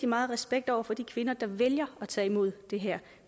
meget respekt over for de kvinder der vælger at tage imod det her